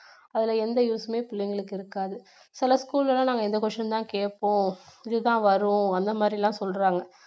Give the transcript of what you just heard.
அதுல எந்த use மே பிள்ளைங்களுக்கு இருக்காது சில school ல எல்லாம் நாங்க இந்த question தான் கேப்போம் இதுதான் வரும் அந்த மாதிரி எல்லாம் சொல்றாங்க